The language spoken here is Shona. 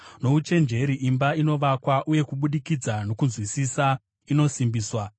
Nouchenjeri imba inovakwa, uye kubudikidza nokunzwisisa inosimbiswa;